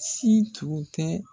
Situ tɛ